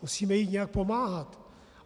Musíme jí nějak pomáhat.